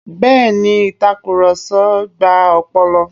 Bẹ́ẹ̀ ni, ìtakùrọ̀sọ gba ọpọlọ.